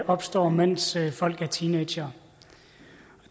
opstår mens folk er teenagere